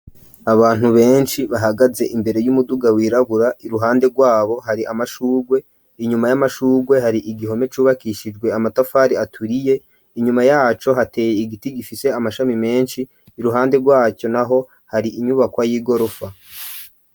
Abantu benshi bahagaze imbere y'umuduga wirabura, iruhande rwabo hari amashurwe, inyuma y'amashurwe hari igihome cubakishijwe amatafari aturiye, inyuma yaco hateye igiti gifise amashami menshi, iruhande rwaco naho hari inyubakwa y'igorofa.